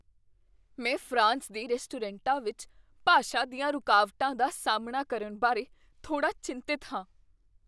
ਮੈਂ ਫਰਾਂਸ ਦੇ ਰੈਸਟੋਰੈਂਟਾਂ ਵਿੱਚ ਭਾਸ਼ਾ ਦੀਆਂ ਰੁਕਾਵਟਾਂ ਦਾ ਸਾਹਮਣਾ ਕਰਨ ਬਾਰੇ ਥੋੜ੍ਹਾ ਚਿੰਤਤ ਹਾਂ।